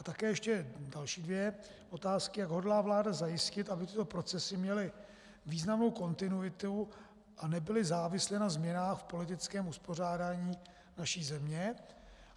A také ještě další dvě otázky: Jak hodlá vláda zajistit, aby tyto procesy měly významnou kontinuitu a nebyly závislé na změnách v politickém uspořádání naší země?